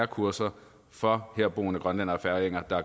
kurser for herboende grønlændere og færinger